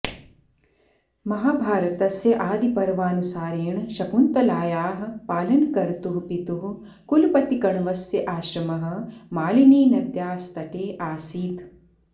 महाभारतस्य आदिपर्वानुसारेण शकुन्तलायाः पालनकर्तुः पितुः कुलपतिकण्वस्य आश्रमः मालिनीनद्यास्तटे आसीत्